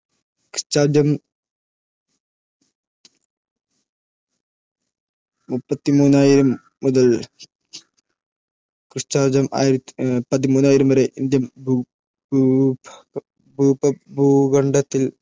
മുപ്പത്തിമൂവായിരം മുതൽ പതിമൂവായിരം വരെ ഇന്ത്യൻ ഉപഭൂഖണ്ഡത്തിൽ